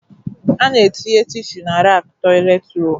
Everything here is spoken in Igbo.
Ana etinye tịshu na raku toịlet roolu